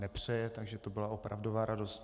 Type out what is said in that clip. Nepřeje, takže to byla opravdová radost.